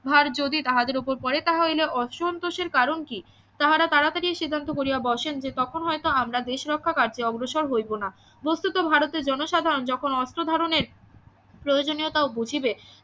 ভার যদি তাহাদের ওপর পরে তাহলে অসন্তোষের কারণ কি তাহারা তাড়াতাড়ি সিদ্ধান্ত করিয়া বসেন যে তখন হয়ত আমরা দেশ রক্ষা কার্যে অগ্রসর হইব না বস্তুত ভারতের জনসাধারন যখন অর্থ ধারনের প্রয়োজনীয়তা বুঝিবে